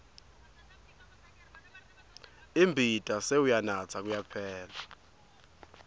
imbita sewuyanatsa kuyaphela